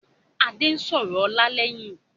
Adé ń sọ̀rọ̀ ọlá lẹ́yìn